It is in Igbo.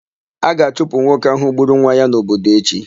A ga-achụpụ nwoke ahụ gburu nwa ya n'obodo echi.